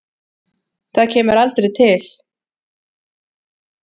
Það kemur aldrei til.